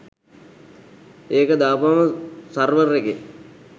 ඒක දාපුවම සර්වර් එකේ